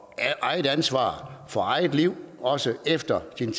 eget ansvar for eget liv også efter tiden